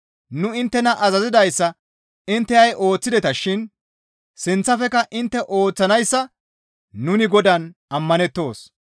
Nu inttena azazidayssa intte ha7i ooththideta shin sinththafekka intte ooththanayssa nuni Godaan ammanettoos.